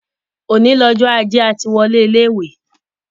Òní lọjọ́ ajé, a ti wọlé ilé ìwé.